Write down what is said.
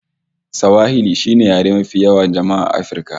Swahili shine yare mafi yawan jama'a A afirka